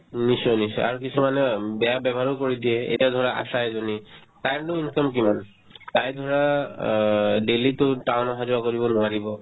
উম, নিশ্চয় নিশ্চয় আৰু কিছুমান উম বেয়া ব্যৱহাৰো কৰি দিয়ে এতিয়া ধৰা আশা এজনী তাইৰনো income কিমান তাই ধৰা অ daily তো town অহা-যোৱা কৰিব নোৱাৰিব